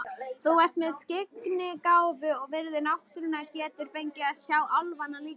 Ef þú ert með skyggnigáfu og virðir náttúruna geturðu fengið að sjá álfana líka.